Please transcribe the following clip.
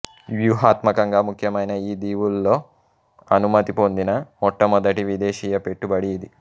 వ్యూహాత్మకంగా ముఖ్యమైన ఈ దీవుల్లో అనుమతి పొందిన మొట్టమొదటి విదేశీ పెట్టుబడి ఇది